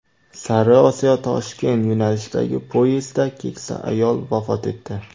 Sariosiyo-Toshkent yo‘nalishidagi poyezdda keksa ayol vafot etdi.